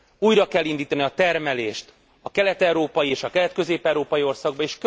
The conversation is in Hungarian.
Újra kell indítani a termelést a kelet európai és a kelet közép európai országokban.